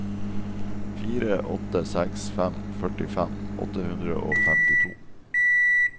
fire åtte seks fem førtifem åtte hundre og femtito